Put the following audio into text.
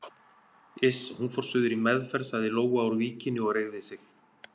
Iss, hún fór suður í meðferð sagði Lóa úr Víkinni og reigði sig.